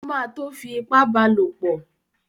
O má tún tó fi ipá bá lopọ̀.